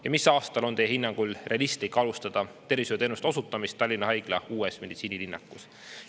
Ja mis aastal on teie hinnangul realistlik alustada tervishoiuteenuste osutamist Tallinna haigla uues meditsiinilinnakus?